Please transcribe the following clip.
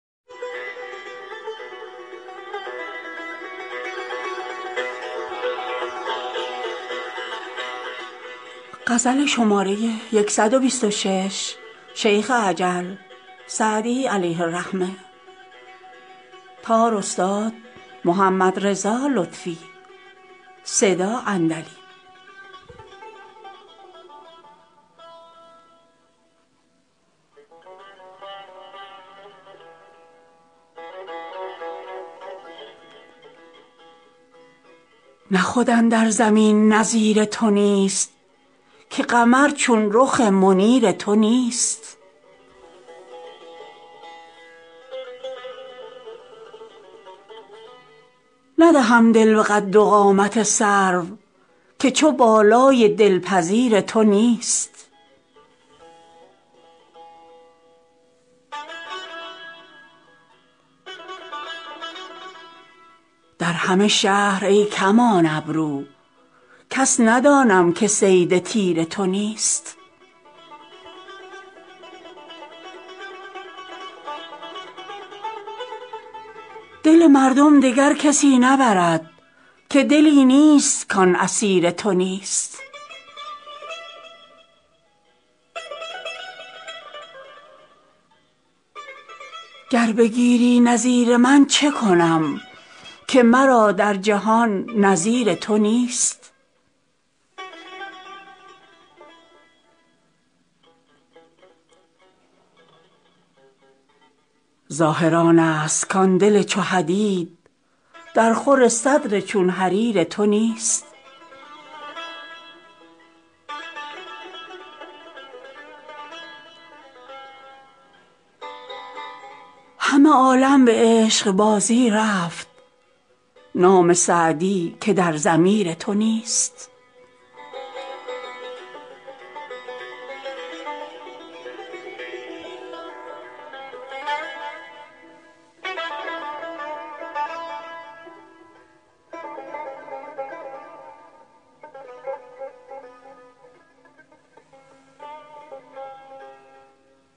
نه خود اندر زمین نظیر تو نیست که قمر چون رخ منیر تو نیست ندهم دل به قد و قامت سرو که چو بالای دلپذیر تو نیست در همه شهر ای کمان ابرو کس ندانم که صید تیر تو نیست دل مردم دگر کسی نبرد که دلی نیست کان اسیر تو نیست گر بگیری نظیر من چه کنم که مرا در جهان نظیر تو نیست ظاهر آنست کان دل چو حدید درخور صدر چون حریر تو نیست همه عالم به عشقبازی رفت نام سعدی که در ضمیر تو نیست